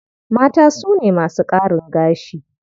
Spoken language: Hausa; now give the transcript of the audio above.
Mata su ne masu ƙarin gashi.